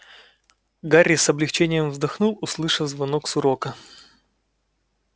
гарри с облегчением вздохнул услышав звонок с урока